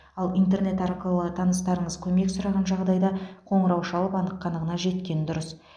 ал интернет арқылы таныстарыңыз көмек сұраған жағдайда қоңырау шалып анық қанығына жеткен дұрыс